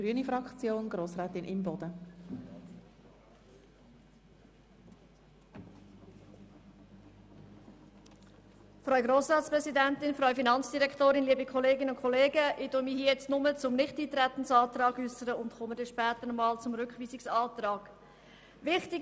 Ich äussere mich in diesem Votum nur zum Nichteintretensantrag und komme später auf den Rückweisungsantrag zu sprechen.